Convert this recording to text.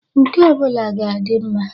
Nke ọ bụla ga adị mma.